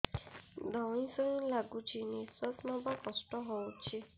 ଧଇଁ ସଇଁ ଲାଗୁଛି ନିଃଶ୍ୱାସ ନବା କଷ୍ଟ ହଉଚି